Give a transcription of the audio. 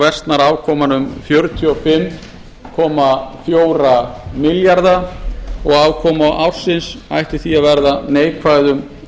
versnar afkoman um fjörutíu og fimm komma fjóra milljarða afkoma ársins ætti því að verða neikvæð um